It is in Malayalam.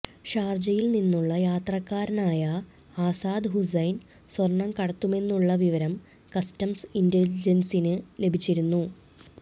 ഷാർജയിൽ നിന്നുള്ള യാത്രക്കാരനായ ആസാദ് ഹുസൈൻ സ്വർണം കടത്തുമെന്നുള്ള വിവരം കസ്റ്റംസ് ഇൻറലിജൻസിന് ലഭിച്ചിരുന്നു